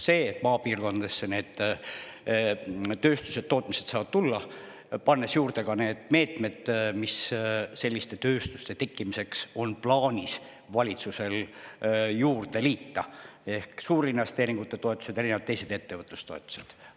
Just see, et maapiirkondadesse saavad tulla tööstused ja tootmised, ja paneme sinna juurde veel need meetmed, mis valitsusel on plaanis selliste tööstuste tekitamiseks kasutusele võtta, nagu suurinvesteeringute toetused ja teised ettevõtlustoetused.